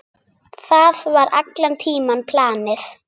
Það var allan tímann planið.